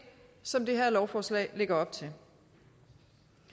som det her lovforslag lægger op til